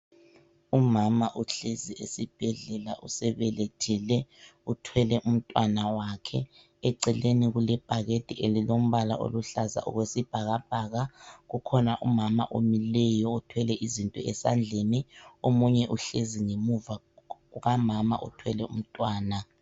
Umama uhlezi esibhedlela usebelethile uthwele umntwana wakhe. Eceleni kulebhakade elilombala oluhlaza okwesibhakabhaka. Kukhona umama omileyo othwele izinto esandleni omunye uhlezi ngemuva kukamama othwele umntwana.